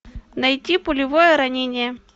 найти пулевое ранение